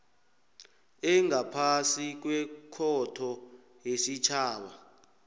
engaphasi kwekhotho yesitjhaba